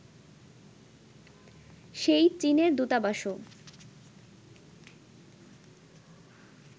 সেই চীনের দূতাবাসও